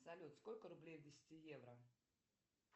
салют сколько рублей в десяти евро